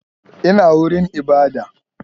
Ina wurin ibada?